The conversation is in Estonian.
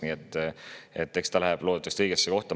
Nii et see läheb loodetavasti õigesse kohta.